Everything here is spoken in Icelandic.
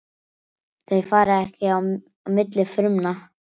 Þau fara ekki á milli frumna.